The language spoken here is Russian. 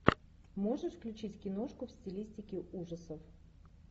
можешь включить киношку в стилистике ужасов